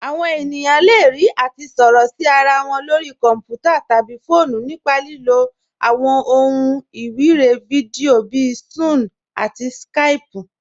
Àwọn ènìyàn le rí àti sọ̀rọ̀ sí ara wọn lórí kọ̀nputà̀ tabí fọọ̀nù nípa lílò àwọn òhun èlò iwiregbè fídíò bíì Sún-ún àti Skáypù.